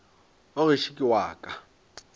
wa gešo ke wa ka